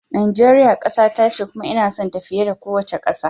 Najeriya kasata ce kuma ina sonta fiye da kowace kasa